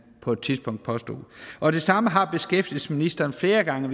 på et tidspunkt og det samme har beskæftigelsesministeren flere gange